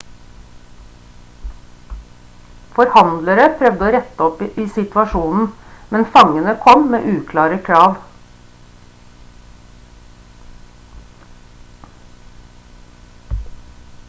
forhandlere prøvde å rette opp i situasjonen men fangene kom med uklare krav